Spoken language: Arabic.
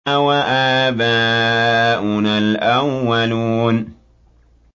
أَوَآبَاؤُنَا الْأَوَّلُونَ